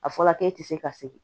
A fɔra k'e ti se ka segin